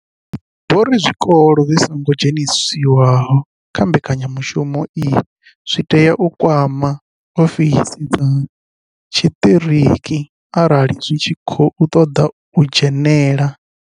Vho ri zwikolo zwi songo dzheniswaho kha mbekanyamushumo iyi zwi tea u kwama ofisi dza tshiṱiriki arali zwi tshi khou ṱoḓa u dzhenela.